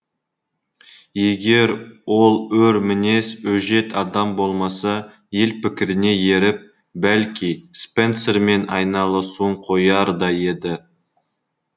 егер ол өр мінез өжет адам болмаса ел пікіріне еріп бәлки спенсермен айналысуын қояр да еді